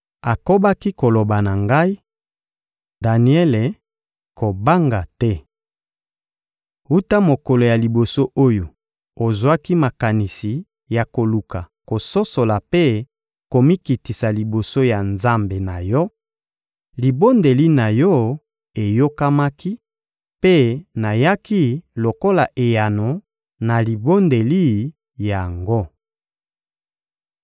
Akobaki koloba na ngai: — Daniele, kobanga te! Wuta mokolo ya liboso oyo ozwaki makanisi ya koluka kososola mpe komikitisa liboso ya Nzambe na yo, libondeli na yo eyokamaki, mpe nayaki lokola eyano na libondeli yango.